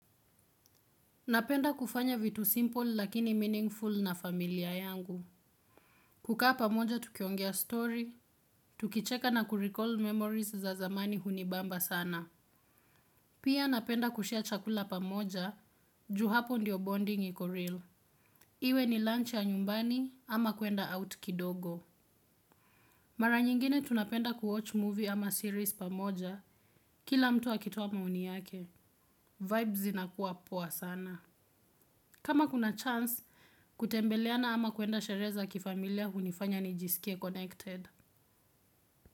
Napenda kufanya vitu simple lakini meaningful na familia yangu. Kukaa pamoja tukiongea story, tukicheka na kurecall memories za zamani hunibamba sana. Pia napenda kushare chakula pamoja, ju hapo ndiyo bonding iko real. Iwe ni lunch ya nyumbani ama kwenda out kidogo. Mara nyingine tunapenda kuwatch movie ama series pamoja kila mtu akitoa maoni yake. Vibe zinakuwa poa sana. Kama kuna chance kutembeleana ama kwenda sheree za kifamilia unifanya nijisikie connected.